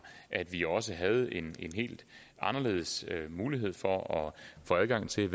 at vi også havde en helt anderledes mulighed for at få adgang til